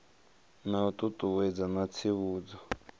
na u ṱuṱuwedza na tsivhudzo